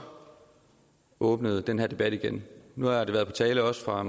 åbnet den her debat igen nu har det været på tale også fra